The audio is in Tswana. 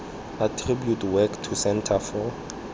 attribute work to centre for